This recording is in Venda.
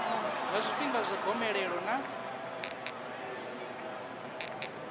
nga zwifhinga zwa gomelelo ḽa